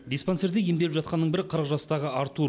диспансерде емделіп жатқанның бірі қырық жастағы артур